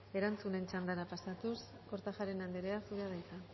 erantzunen txandara pasatuz kortajarena anderea zurea da hitza